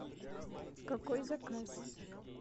какой заказ